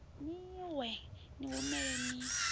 ni wee ni humelani ni